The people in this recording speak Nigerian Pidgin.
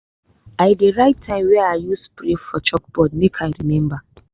i dey write time wey i use spray for chalkboard make i remember.